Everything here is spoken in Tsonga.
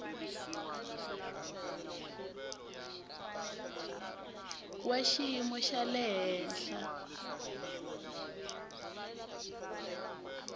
wa xiyimo xa le henhla